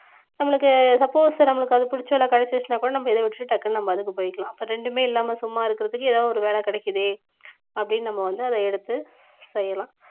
நம்மளுக்கு suppose நம்மளுக்கு அது பிடிச்ச வேலை கிடைச்சிருச்சுன்னா கூட நம்ம இத விட்டுட்டு டக்குனு நம்ம அதுக்கு போயிக்கலாம் அப்ப ரெண்டுமே இல்லாம சும்மா இருக்கறதுக்கு ஏதாவது ஒரு வேலை கிடைக்குதே அப்படீன்னு நம்ம வந்து அத எடுத்து செய்யலாம்